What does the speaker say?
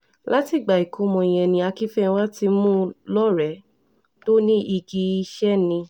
láti ìgbà ìkọ́mọ yẹn ni akinfénwà ti mú un lọ́rẹ̀ẹ́ tó ní igi iṣẹ́ ni